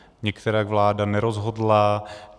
Nikterak vláda nerozhodla.